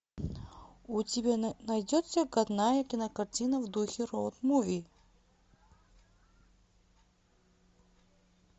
у тебя найдется годная кинокартина в духе роуд муви